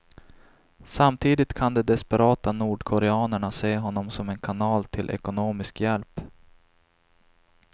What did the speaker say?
Samtidigt kan de desperata nordkoreanerna se honom som en kanal till ekonomisk hjälp.